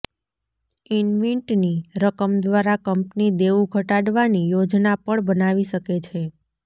ઈન્વીટની રકમ દ્વારા કંપની દેવું ઘટાડવાની યોજના પણ બનાવી શકે છે